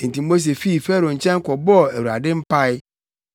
Enti Mose fii Farao nkyɛn kɔbɔɔ Awurade mpae,